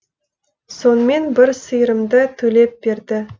сонымен бір сиырымды төлеп берді